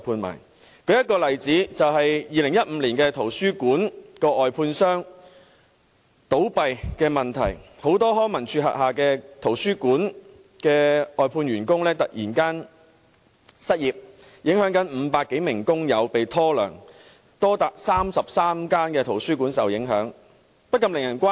我舉一個例子 ，2015 年，圖書館的外判商倒閉，康文署轄下圖書館的許多外判員工突然失業 ，500 多名工友被拖欠工資，多達33間圖書館受影響，情況令人關注。